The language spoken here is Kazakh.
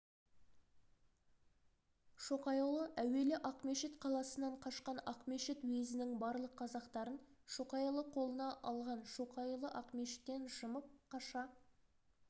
шоқайұлы әуелі ақмешіт қаласынан қашқан ақмешіт уезінің барлық қазақтарын шоқайұлы қолына алған шоқайұлы ақмешіттен жымып қаша